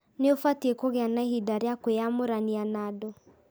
Nĩ ũbatiĩ kũgĩa na ihinda rĩa kwĩyamũrania na andũ